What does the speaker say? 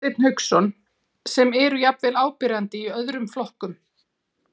Hafsteinn Hauksson: Sem eru jafnvel áberandi í öðrum flokkum?